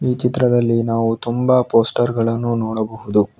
ಈ ಚಿತ್ರದಲ್ಲಿ ನಾವು ತುಂಬಾ ಪೋಸ್ಟರ್ ಗಳನ್ನು ನೋಡಬಹುದು.